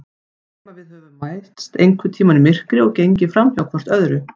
Nema við höfum mæst einhvern tíma í myrkri og gengið framhjá hvort öðru.